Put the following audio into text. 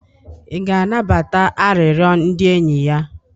ị ga-anabata arịrịọ ndị enyi ya?